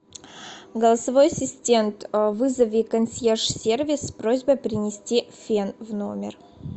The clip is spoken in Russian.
голосовой ассистент вызови консьерж сервис с просьбой принести фен в номер